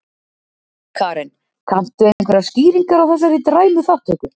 Karen: Kanntu einhverjar skýringar á þessari dræmu þátttöku?